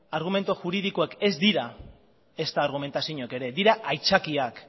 argumentu juridikoek ez dira ezta argumentaziorik ere dira haitzakiak